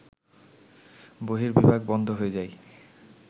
বহির্বিভাগ বন্ধ হয়ে যায়